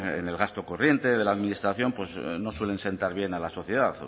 en el gasto corriente de la administración no suelen sentar bien a la sociedad